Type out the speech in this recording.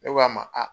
Ne k'a ma a